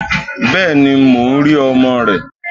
Bẹ́ẹ̀ni, mo ń rí ọmọ rẹ.